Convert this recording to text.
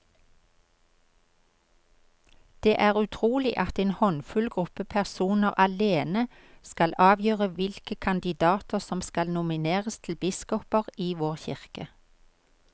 Det er utrolig at en håndfull gruppe personer alene skal avgjøre hvilke kandidater som skal nomineres til biskoper i vår kirke.